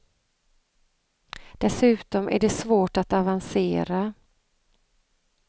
Dessutom är det svårt att avancera.